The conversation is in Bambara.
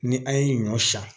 Ni an ye ɲɔ san